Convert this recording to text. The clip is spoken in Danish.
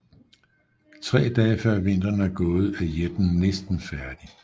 Tre dage før vinteren er gået er jætten næsten færdig